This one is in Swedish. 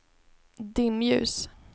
dimljus